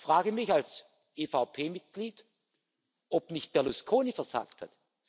Ich frage mich als EVP Mitglied, ob nicht Berlusconi versagt hat?